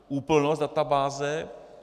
Úplnost databáze.